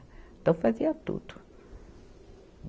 Então, fazia tudo.